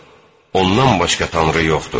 Ondan başqa tanrı yoxdur.